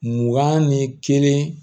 Mugan ni kelen